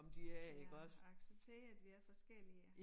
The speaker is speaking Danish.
Ja acceptere at de er forskellige